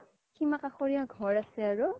সিমাকাখৰিয়া ঘৰ আছে আৰু